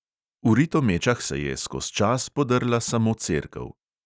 V ritomečah se je skoz čas podrla samo cerkev.